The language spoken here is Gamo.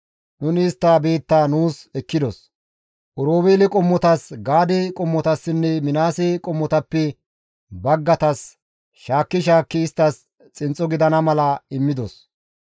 Nuni istta biittaa nuus ekkidos; Oroobeele qommotas Gaade qommotassinne Minaase qommotappe baggaytas shaakki shaakki isttas xinxxo gidana mala immidos.